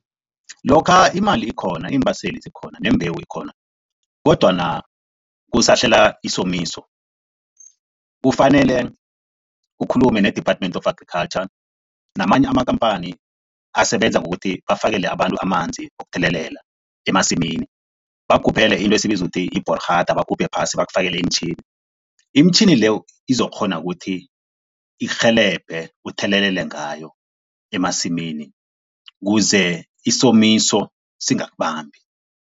Lokha imali ikhona, iimbaseli zikhona nembewu ikhona kodwana kusahlela isomiso, kufanele ukhulume ne-Department of Agriculture namanye amakhamphani asebenza ngokuthi bafakele abantu amanzi wokuthelelela emasimini, bakugubhele into esiyibiza ukuthi yi-boorgat, baguphe phasi bakufakele imitjhini. Imitjhini leyo izokukghona ukuthi irhelebhe, uthelelele ngayo emasimini kuze isomiso singakubambi.